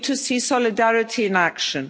week. We need to see solidarity in